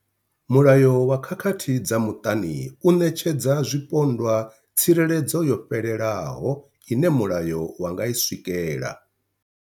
Mulayo wa khakhathi dza muṱani u ṋetshedza zwipondwa tsireledzo yo fhelelaho ine mulayo wa nga i swikela.